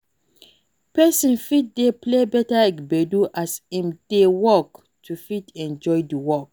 Person fit dey play better gbedu as im dey work to fit enjoy di work